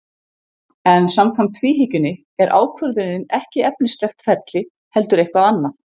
En samkvæmt tvíhyggjunni er ákvörðunin ekki efnislegt ferli heldur eitthvað annað.